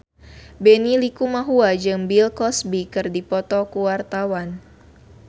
Benny Likumahua jeung Bill Cosby keur dipoto ku wartawan